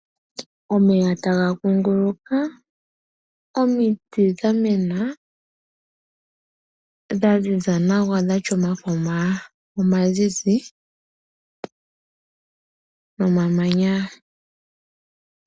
Omeya otaga kunguluka. Omiti odha mena dha ziza nawa dhatya omafo omazizi nomamanya.